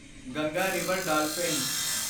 Ganga river dolphin